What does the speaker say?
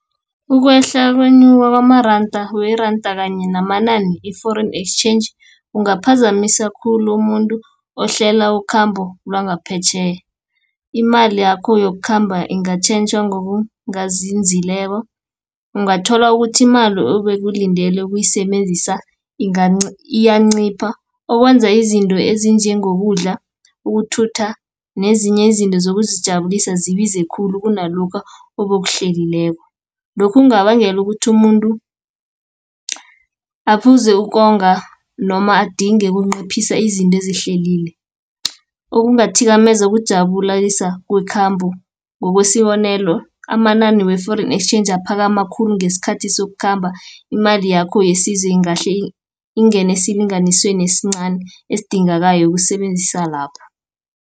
Ukwehla kwenyuka weranda kanye namanani i-Foreign Exchange, kungaphazamisa khulu umuntu ohlela ukhambo lwangaphetjheya. Imali yakho yokukhamba ingatjhentjha ngokungazinzileko ungathola ukuthi imali ebewulindele ukuyisebenzisa, iyancipha okwenza izinto ezinjengokudla, ukuthutha, nezinye izinto zokuzijabulisa zibize khulu kunalokha obowukuhlelileko. Lokhu kungabangela ukuthi umuntu, aphuze ukonga, noma adinge ukunciphisa izinto ezihlelile . Ukungathikameza kujabulisa kwekhambo, ngokwesibonelo, amanani we-Foreign Exchange aphakama khulu ngesikhathi sokukhamba, imali yakho ingahle ingene esilinganisweni esincani, ezidingakayo ukusebenzisa lapho.